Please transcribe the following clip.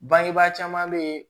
Bangebaa caman bɛ yen